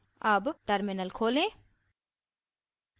अब terminal खोलें